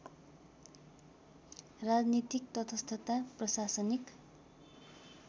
राजनीतिक तटस्थता प्रशानिक